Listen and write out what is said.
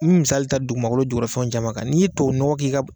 N bi misali ta dugu jugɔrafɛn caman kan n'i ye tubabu nɔgɔn ta